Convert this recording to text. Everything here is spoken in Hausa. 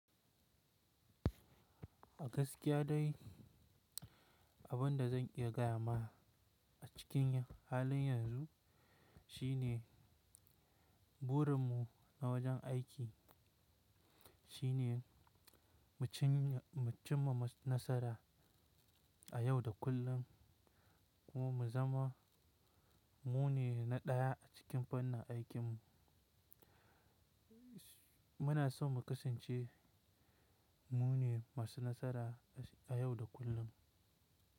A gaskiya dai, abin da zan iya gaya ma a cikin halin yanzu shine burin mu na wajen aiki shine mu cimma nasara a yau da kullum kuma mu zama mu ne na ɗaya a cikin fannin aikin mu. Muna so mu kasance mu ne masu nasara a yau da kullum.